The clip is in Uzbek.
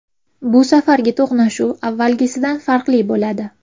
Bu safargi to‘qnashuv avvalgisidan farqli bo‘ladi”.